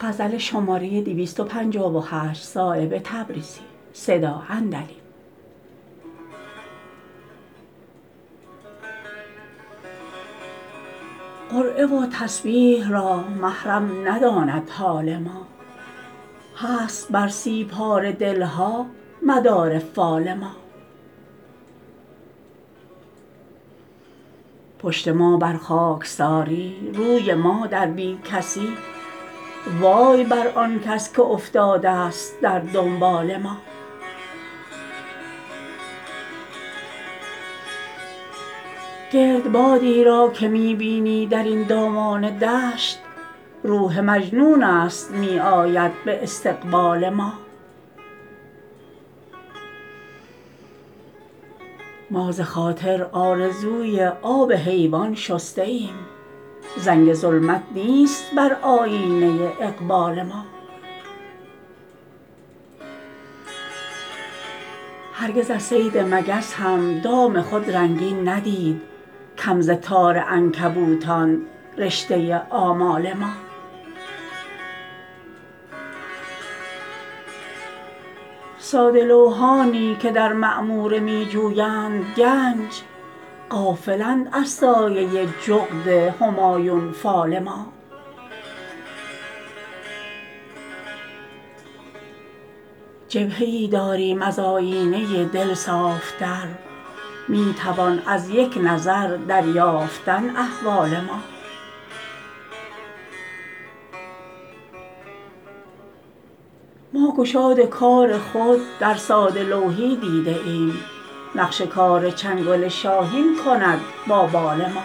قرعه و تسبیح را محرم نداند حال ما هست بر سی پاره دل ها مدار فال ما پشت ما بر خاکساری روی ما در بی کسی وای بر آن کس که افتاده است در دنبال ما گردبادی را که می بینی درین دامان دشت روح مجنون است می آید به استقبال ما ما ز خاطر آرزوی آب حیوان شسته ایم زنگ ظلمت نیست بر آیینه اقبال ما هرگز از صید مگس هم دام خود رنگین ندید کم ز تار عنکبوتان رشته آمال ما ساده لوحانی که در معموره می جویند گنج غافلند از سایه جغد همایون فال ما جبهه ای داریم از آیینه دل صاف تر می توان از یک نظر دریافتن احوال ما ما گشاد کار خود در ساده لوحی دیده ایم نقش کار چنگل شاهین کند با بال ما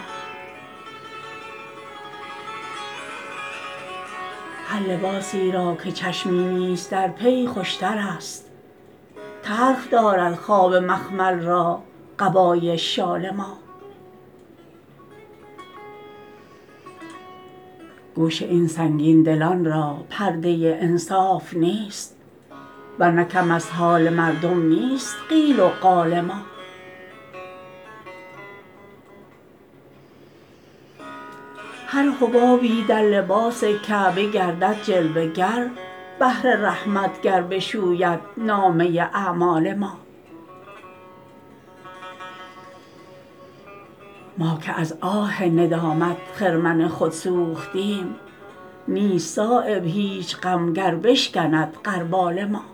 هر لباسی را که چشمی نیست در پی خوشترست تلخ دارد خواب مخمل را قبای شال ما گوش این سنگین دلان را پرده انصاف نیست ورنه کم از حال مردم نیست قیل و قال ما هر حبابی در لباس کعبه گردد جلوه گر بحر رحمت گر بشوید نامه اعمال ما ما که از آه ندامت خرمن خود سوختیم نیست صایب هیچ غم گر بشکند غربال ما